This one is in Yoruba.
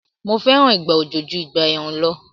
Mo fẹ́ràn ìgbà òjò ju ìgbà ẹ̀rùn lọ